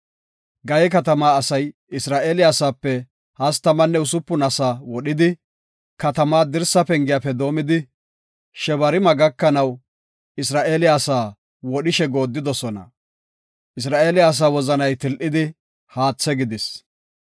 Gaye katamaa asay Isra7eele asaape hastamanne usupun asaa wodhidi, katamaa dirsaa pengiyafe doomidi, Shebarime gakanaw Isra7eele asaa wodhishe goodidosona. Isra7eele asaa wozanay til7idi, haathe gidis.